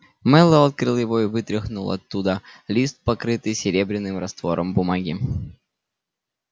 мэллоу открыл его и вытряхнул оттуда лист покрытой серебряным раствором бумаги